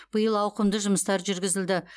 биыл ауқымды жұмыстар жүргізілді